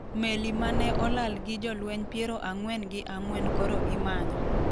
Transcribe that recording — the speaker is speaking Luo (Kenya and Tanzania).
Meli ma ne olal gi jolweny piero ang'wen gi ang'wen koro imanyo